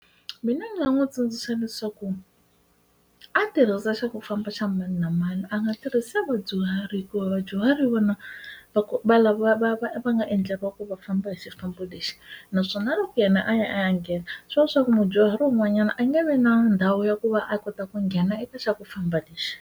Mina ndzi nga n'wi tsundzuxa leswaku a tirhisa xa ku famba xa mani na mani a nga tirhisi vadyuhari hikuva vadyuhari hi vona loko va lava va va va nga endleriwa ku va famba hi xifambo lexi naswona loko yena a ya a ya nghena xo leswaku mudyuhari wun'wanyana a nge vi na ndhawu ya ku va a kota ku nghena i ta xa ku famba lexi.